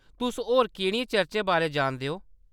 तुस होर केह्‌‌‌ड़ियें चर्चें बारै जानदे ओ?